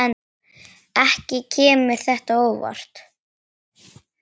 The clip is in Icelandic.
Ekki kemur þetta á óvart.